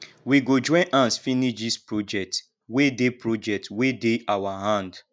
we go join hands finish dis project wey dey project wey dey our hand